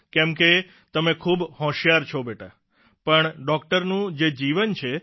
કેમ કે તમે ખૂબ હોશિયાર છો બેટા પણ ડોકટરનું જે જીવન છે